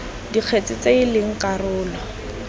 dikgetse tse e leng karolo